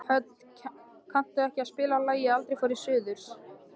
Hödd, kanntu að spila lagið „Aldrei fór ég suður“?